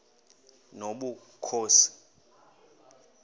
nobukhosi